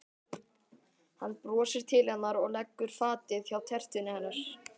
Hann brosir til hennar og leggur fatið hjá tertunni hennar.